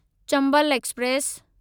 Chambal express